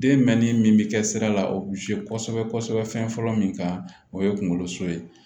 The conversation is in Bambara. Den mɛnni min bɛ kɛ sira la o bɛ kosɛbɛ kosɛbɛ fɛn fɔlɔ min kan o ye kunkolo so ye